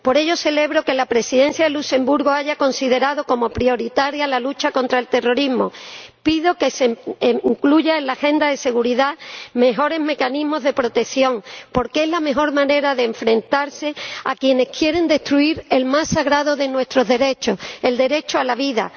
Por ello, celebro que la Presidencia de Luxemburgo haya considerado prioritaria la lucha contra el terrorismo. Pido que se incluyan en la Agenda de Seguridad mejores mecanismos de protección, porque es la mejor manera de enfrentarse a quienes quieren destruir el más sagrado de nuestros derechos, el derecho a la vida.